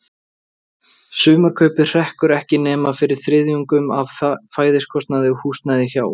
Sumarkaupið hrekkur ekki nema fyrir þriðjungnum af fæðiskostnaði og húsnæði hjá